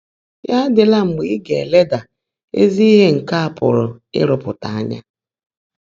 Yá ádị́lá mgbe ị́ gá-èlèdá ézí íhe nkè á pụ́rụ́ ị́rụ́pụ́tá ányá.